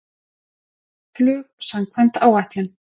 Flug samkvæmt áætlun